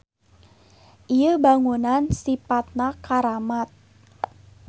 Ieu bangunan sipatna karamat